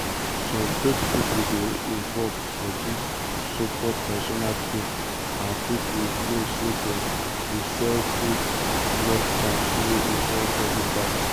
some fake pipo dey involved for dis so-called traditional cures um and pipo know say dem dey sell um good luck charms wey involve body parts.